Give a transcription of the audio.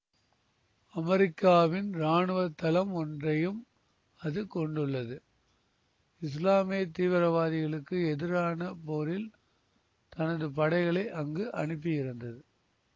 அமெரிக்காவின் இராணுவ தளம் ஒன்றையும் அது கொண்டுள்ளது இசுலாமிய தீவிரவாதிகளுக்கு எதிரான போரில் தனது படைகளை அங்கு அனுப்பியிருந்தது